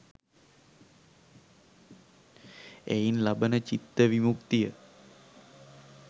එයින් ලබන චිත්ත විමුක්තිය